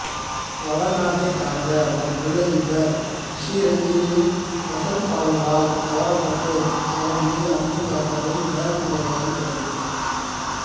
வடநாட்டைச் சார்ந்த ஒரு தொழிலதிபர் சிறீரஞ்சனியின் கசல் பாடல்களால் கவரப்பட்டு அவர் மீது அன்பு காட்டவும் நேரம் செலவிடவும் தொடங்குகிறார்